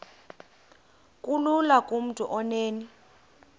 kulula kumntu onen